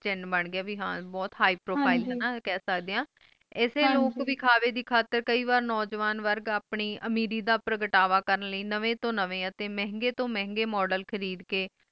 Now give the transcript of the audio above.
ਬੰਦ ਗਏ ਹੈ ਨਾ ਕਈ ਵੇ ਹਨ ਬਹੁਤ high profile ਹੈਂ ਨਾ ਕਹਿ ਸਕਦੇ ਆਈ ਇਸੇ ਲੋਕ ਦਿਖਾਵੇ ਦੀ ਖਾਤਿਰ ਕੇ ਵਾਰ ਨੌਜਵਾਨ ਵੁਰਗ ਆਪਣੀ ਅਮੀਰੀ ਦਾ ਪੁਰਗਤਾਵਾਂ ਕਾਰਨ ਲਾਏ ਨਵੇਂ ਤੋਂ ਨਵੇਂ ਤੇ ਮਹਿੰਗਾਈ ਤੋਂ ਮਹਿੰਗਾਈ model ਖਰੀਦ ਕ